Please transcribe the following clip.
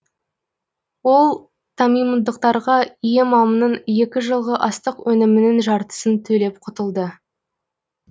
ол тамимдықтарға иемамның екі жылғы астық өнімінің жартысын төлеп құтылды